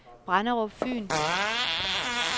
Brenderup Fyn